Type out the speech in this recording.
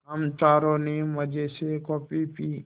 हम चारों ने मज़े से कॉफ़ी पी